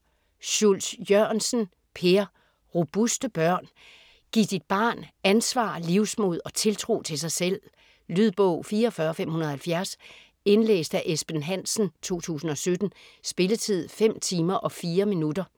Schultz Jørgensen, Per: Robuste børn Giv dit barn ansvar, livsmod og tiltro til sig selv. Lydbog 44570 Indlæst af Esben Hansen, 2017. Spilletid: 5 timer, 4 minutter.